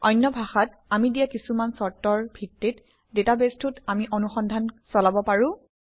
অন্য ভাষাত আমি দিয়া কিছুমান চৰ্তৰ ভিত্তিত ডাটাবেছটোত আমি অনুসন্ধান চলাব পাৰোঁ